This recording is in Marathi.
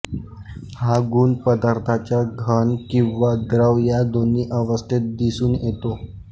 हा गुण पदार्थाच्या घन किंवा द्रव या दोन्ही अवस्थेत दिसून येतो